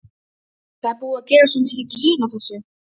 Það er búið að gera svo mikið grín að þessu.